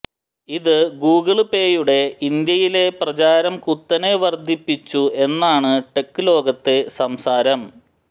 ഇത് ഗൂഗിള്പേയുടെ ഇന്ത്യയിലെ പ്രചാരം കുത്തനെ വര്ദ്ധിപ്പിച്ചു എന്നാണ് ടെക് ലോകത്തെ സംസാരം